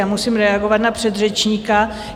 Já musím reagovat na předřečníka.